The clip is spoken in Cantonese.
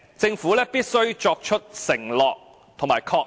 政府必須作出承諾和確認。